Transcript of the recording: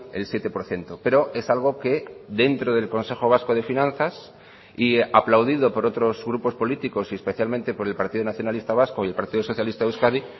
el siete por ciento pero es algo que dentro del consejo vasco de finanzas y aplaudido por otros grupos políticos y especialmente por el partido nacionalista vasco y el partido socialista de euskadi